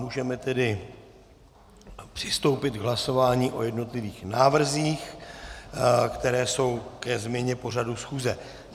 Můžeme tedy přistoupit k hlasování o jednotlivých návrzích, které jsou ke změně pořadu schůze.